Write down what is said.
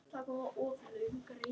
Honum þykir vænt um mig.